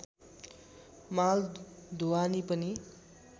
माल ढुवानी पनि